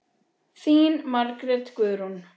Þín Margrét Guðrún.